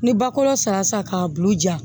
Ni ba kɔrɔ sira k'a bulu ja